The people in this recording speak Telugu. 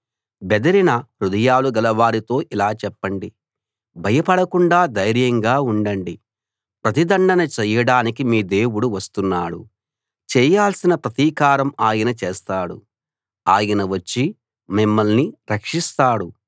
బెదిరిన హృదయాలు గలవారితో ఇలా చెప్పండి భయపడకుండా ధైర్యంగా ఉండండి ప్రతిదండన చేయడానికి మీ దేవుడు వస్తున్నాడు చేయాల్సిన ప్రతీకారం ఆయన చేస్తాడు ఆయన వచ్చి మిమ్మల్ని రక్షిస్తాడు